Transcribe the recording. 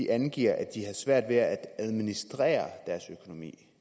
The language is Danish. angiver at de har svært ved at administrere deres økonomi